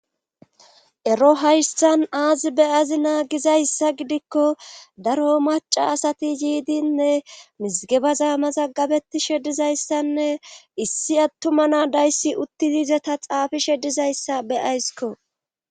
ero hayssan aazi beyazi naagizayssa gidikko daro maca asati yiidinne misgeba zaamaza gabeti shedizayssanne issi attuma naadayssi utti diiza ta xaafi shedizayssa beyaysiko